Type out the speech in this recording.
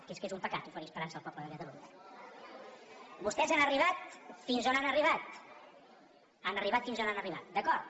que és que és un pecat oferir esperança al poble de catalunya vostès han arribat fins on han arribat han arribat fins on han arribat d’acord